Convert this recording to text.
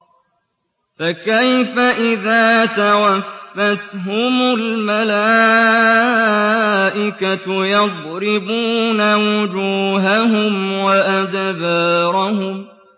فَكَيْفَ إِذَا تَوَفَّتْهُمُ الْمَلَائِكَةُ يَضْرِبُونَ وُجُوهَهُمْ وَأَدْبَارَهُمْ